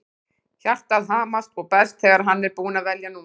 Hjartað hamast og berst þegar hann er búinn að velja númerið.